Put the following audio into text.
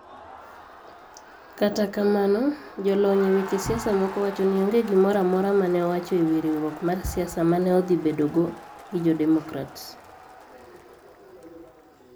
Kata kamano, jolony e weche siasa moko wacho ni onge gimoro amora ma ne owacho e wi riwruok mar siasa ma ne odhi bedogo gi jo Demokrats